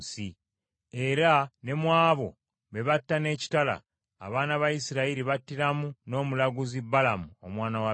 Era ne mu abo be batta n’ekitala, abaana ba Isirayiri battiramu n’omulaguzi Balamu omwana wa Byoli.